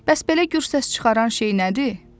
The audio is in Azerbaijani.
Bəs belə gür səs çıxaran şey nədir?